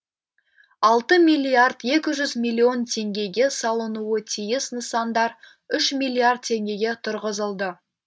алты миллиард екі жүз миллион теңгеге салынуы тиіс нысандар үш миллиард теңгеге тұрғызылды